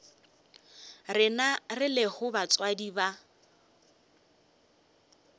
rena re lego batswadi ba